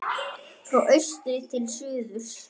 Frá austri til suðurs